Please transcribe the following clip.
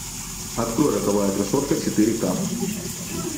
открой роковая красотка четыре к